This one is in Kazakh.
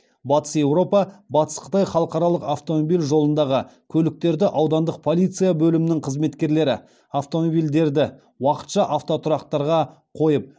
батыс еуропа батыс қытай халықаралық автомобиль жолындағы көліктерді аудандық полиция бөлімінің қызметкерлері автомобильдерді уақытша автотұрақтарға қойып